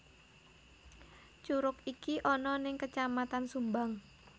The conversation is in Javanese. Curug iki ana ning kecamatan sumbang